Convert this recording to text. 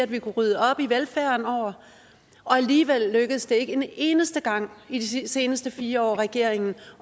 vi kunne rydde op i velfærden og alligevel lykkedes det ikke en eneste gang i de seneste fire år regeringen